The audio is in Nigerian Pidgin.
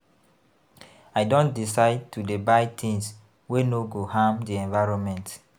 I don decide to dey buy tins wey no go harm di environment.